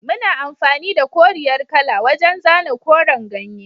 Muna amfani da koriyar kala wajan zana koren ganye